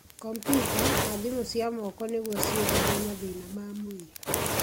kompiuta, na thimũ cia moko nĩguo ciĩtheme mathĩna ma mwĩrĩ